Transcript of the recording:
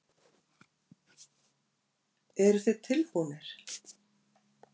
Eruð þið tilbúnir?